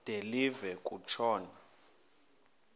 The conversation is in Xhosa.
de live kutshona